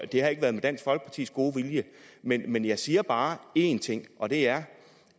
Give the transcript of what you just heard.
det har ikke været med dansk folkepartis gode vilje men men jeg siger bare en ting og det er